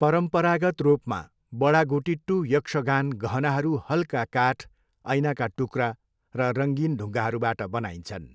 परम्परागत रूपमा, बडागुटिट्टू यक्षगान गहनाहरू हल्का काठ, ऐनाका टुक्रा र रङ्गीन ढुङ्गाहरूबाट बनाइन्छन्।